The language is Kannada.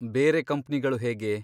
ಬೇರೆ ಕಂಪ್ನಿಗಳು ಹೇಗೆ?